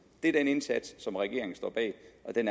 det er den indsats som regeringen står bag